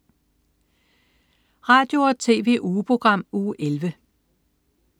Radio- og TV-ugeprogram Uge 11